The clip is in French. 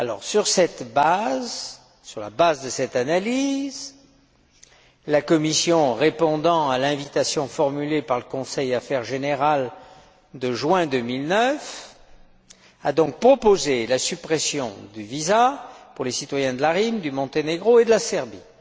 Sur la base de cette analyse, la Commission, répondant à l'invitation formulée par le Conseil Affaires générales de juin 2009, a donc proposé la suppression du visa pour les citoyens de la Macédoine, du Monténégro et de la Serbie.